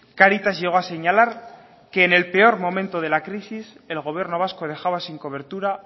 cáritas llegó a señalar que en el peor momento de la crisis el gobierno vasco dejaba sin cobertura